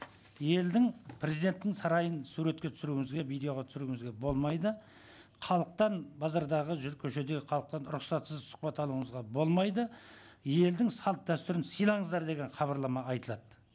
елдің президенттің сарайын суретке түсіруіңізге видеоға түсіруіңізге болмайды халықтан базардағы көшедегі халықтан рұқсатсыз сұхбат алуыңызға болмайды елдің салт дәстүрін сыйлаңыздар деген хабарлама айтылады